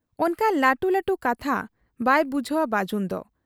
ᱚᱱᱠᱟᱱ ᱞᱟᱹᱴᱩ ᱞᱟᱹᱴᱩ ᱠᱟᱛᱷᱟ ᱵᱟᱭ ᱵᱩᱡᱷᱟᱹᱣᱟ ᱵᱟᱹᱡᱩᱱᱫᱚ ᱾